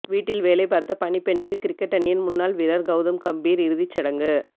வீட்டில் வேலை பார்த்த பணிப்பெண்ணுக்கு கிரிக்கெட் அணியின் முன்னாள் வீரர் கவுதம் காம்பீர் இறுதிச்சடங்கு